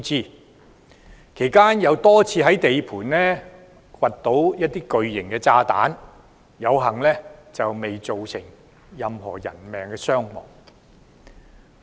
工程期間又多次在地盤掘出巨型炸彈，幸好未有造成任何人命傷亡。